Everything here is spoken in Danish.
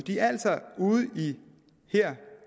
i